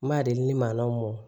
N m'a deli ni mankanw mɔn